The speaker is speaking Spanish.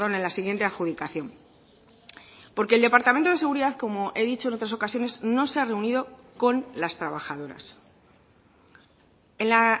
en la siguiente adjudicación porque el departamento de seguridad como he dicho en otras ocasiones no se ha reunido con las trabajadoras en la